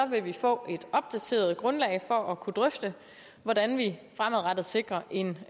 vil vi få et opdateret grundlag for at kunne drøfte hvordan vi fremadrettet sikrer en